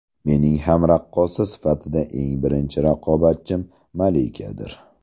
Mening ham raqqosa sifatida eng birinchi raqobatchim Malikadir.